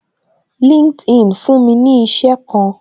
LinkedIn fún mi ní isẹ kan